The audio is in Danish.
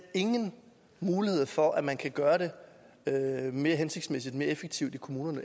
ingen mulighed for at man kan gøre det mere hensigtsmæssigt og mere effektivt i kommunerne